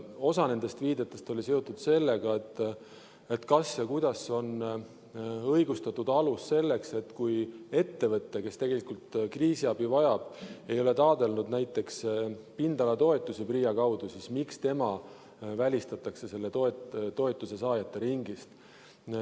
Osa nendest viidetest oli seotud sellega, kas ja kuidas on õigustatud see, et kui ettevõte, kes tegelikult kriisiabi vajab, ei ole taotlenud näiteks pindalatoetusi PRIA kaudu, siis miks tema välistatakse selle toetuse saajate ringist.